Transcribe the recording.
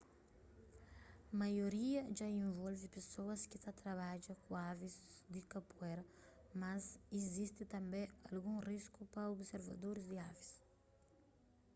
maioria dja involve pesoas ki ta trabadja ku avis di kapuera mas izisti tanbê algun risku pa observadoris di avis